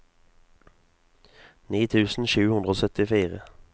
ni tusen sju hundre og syttifire